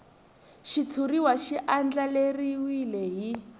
xitshuriwa xi andlariwile hi